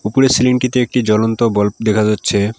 উপরের সিলিংটিতে একটি জ্বলন্ত বাল্ব দেখা যাচ্ছে।